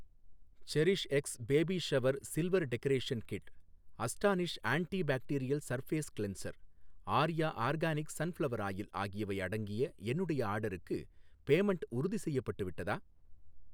செரிஷ்எக்ஸ் baby shower silver decoration kit, Astonish antibacterial surface cleanser, Arya organic sunflower oil ஆகியவை அடங்கிய என்னுடைய ஆர்டர்க்கு payment உறுதிசெய்யப்பட்டு விட்டதா?